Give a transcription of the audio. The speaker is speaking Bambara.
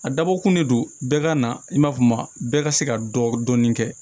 A dabɔkun de don bɛɛ ka na i ma bɛɛ ka se ka dɔ dɔɔnin kɛ